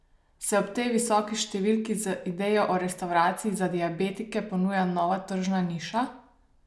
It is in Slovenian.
Se ob tej visoki številki z idejo o restavraciji za diabetike ponuja nova tržna niša?